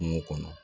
Kungo kɔnɔ